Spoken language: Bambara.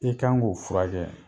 I kan k'o furakɛ